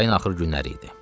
Yayın axır günləri idi.